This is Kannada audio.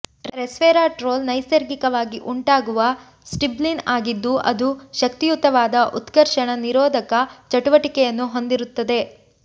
ರೆಸ್ವೆರಾಟ್ರೊಲ್ ನೈಸರ್ಗಿಕವಾಗಿ ಉಂಟಾಗುವ ಸ್ಟಿಲ್ಬೀನ್ ಆಗಿದ್ದು ಅದು ಶಕ್ತಿಯುತವಾದ ಉತ್ಕರ್ಷಣ ನಿರೋಧಕ ಚಟುವಟಿಕೆಯನ್ನು ಹೊಂದಿರುತ್ತದೆ